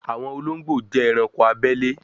àwọn olóńgbò jé ẹranko abele